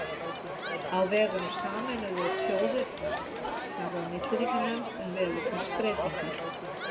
Á vegum Sameinuðu þjóðirnar starfar Milliríkjanefnd um veðurfarsbreytingar.